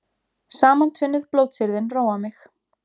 Samantvinnuð blótsyrðin róa mig.